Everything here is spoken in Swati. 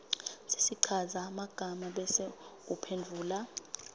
sesichazamagama bese uphendvula